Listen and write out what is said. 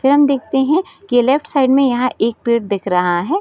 फिर हम देखते है की लेफ्ट साइड में एक पेड दिख रहा है ।